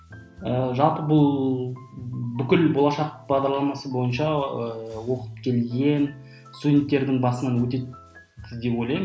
жалпы бұл бүкіл болашақ бағдарламасы бойынша ыыы оқып келген студенттердің басынан өтеді деп ойлаймын